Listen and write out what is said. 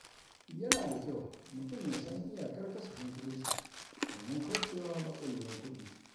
Yana da kyau mutum ya san iyakar kasafin kuɗinsa domin kaucewa matsalolin kuɗi.